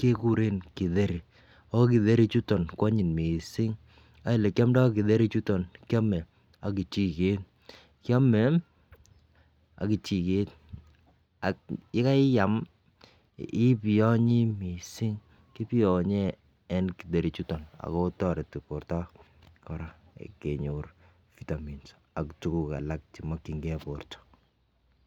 kekuren kiteri, okiteri ichuton kwonyiny missing ak elekiomdo kiteri ichuton kiome ak kechiket. Kiome ak kechiket ak yekaiam ibiyonyi missing kibiyonye en kiteri ichuton ako toreti borto Koraa kenyor vitamins ak tukuk alak chemokingee borto.